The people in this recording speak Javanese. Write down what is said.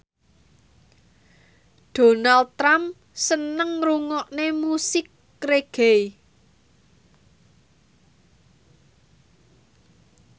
Donald Trump seneng ngrungokne musik reggae